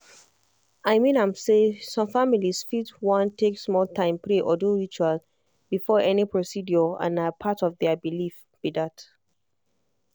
i mean am say some families fit want take small time pray or do ritual before any procedure and na part of their belief.